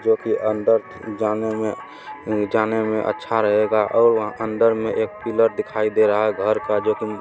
जो की अंदर जाने में जाने मे अच्छा रहेगा और वहां अंदर में एक पिलर दिखाई दे रहा है घर का जो की--